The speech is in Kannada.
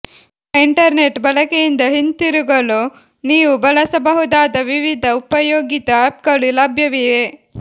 ನಿಮ್ಮ ಇಂಟರ್ನೆಟ್ ಬಳಕೆಯಿಂದ ಹಿಂತಿರುಗಲು ನೀವು ಬಳಸಬಹುದಾದ ವಿವಿಧ ಉಪಯೋಗಿತ ಆ್ಯಪ್ಗಳು ಲಭ್ಯವಿವೆ